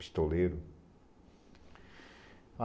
Pistoleiro.